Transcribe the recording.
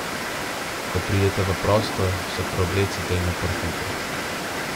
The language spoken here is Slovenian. Ko pridete v prostor, se preoblecite in oprhajte.